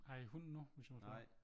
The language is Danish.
Har i hund nu hvis jeg må spørge?